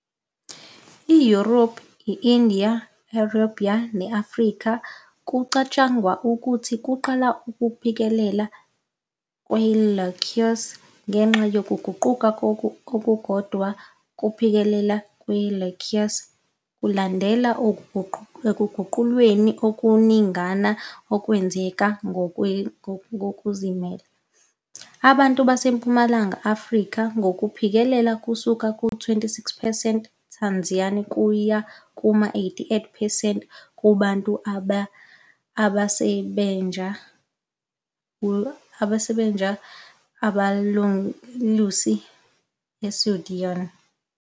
IYurophu, i-India, i-Arabia ne-Afrika kucatshangwa ukuthi kuqala ukuphikelela kwe-lactase ngenxa yokuguquka okukodwa, ukuphikelela kwe-lactase kulandelwe ekuguqulweni okuningana okwenzeke ngokuzimela. Abantu baseMpumalanga Afrika, ngokuphikelela kusuka ku-26 percent eTanzania kuya kuma-88 percent kubantu baseBeja abelusi eSudan.